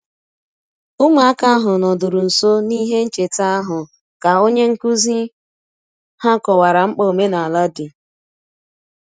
Ụmụaka ahụ nọdụrụ nso n'ihe ncheta ahụ ka onye nkụzi um ha kọwara mkpa omenala dị. um